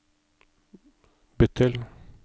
bytt til